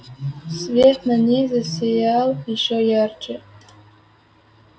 свет на ней засиял ещё ярче